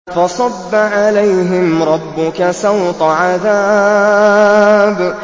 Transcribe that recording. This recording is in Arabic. فَصَبَّ عَلَيْهِمْ رَبُّكَ سَوْطَ عَذَابٍ